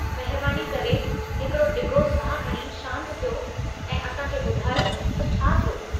महिरबानी करे हिकड़ो ढिघो साहु खणी शांत थियो ऐं असां खे ॿुधायो त छा थियो।